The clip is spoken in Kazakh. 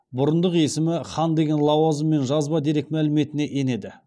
бұрындық есімі хан деген лауазыммен жазба дерек мәліметіне енеді